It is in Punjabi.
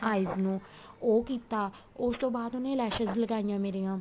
eyes ਨੂੰ ਉਹ ਕੀਤਾ ਉਸ ਤੋ ਉਹਨੇ lashes ਲਗਾਇਆ ਮੇਰੀਆ